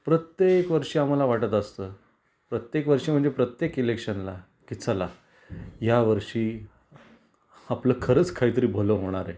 प्रत्येक वर्षी आम्हाला वाटत असत प्रत्येक वर्षी म्हणजे प्रत्येक इलेक्शनला कि चला या वर्षी आपल खरंच काही तरी भल होणार आहे.